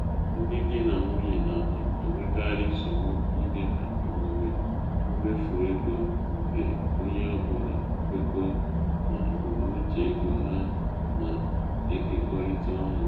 ndị di na nwunye na-enwekarị nsogbu ime ka omume mmefu ego nke onye ọ bụla kwekọọ na ebumnuche ego ha na-ekekọrịta ọnụ.